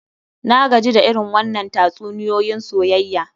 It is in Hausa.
Na gaji da irin wannann tatsuniyoyin soyayya.